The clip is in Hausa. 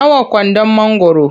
Nawa kwandon mangwaro?